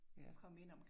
Ja